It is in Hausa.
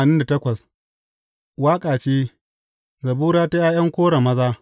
Waƙa ce, Zabura ta ’ya’yan Kora maza.